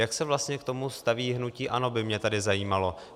Jak se vlastně k tomu staví hnutí ANO, by mě tedy zajímalo.